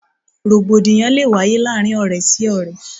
Rògbòdìyàn lé wáyé láàárín ọ̀rẹ́ sí ọ̀rẹ́.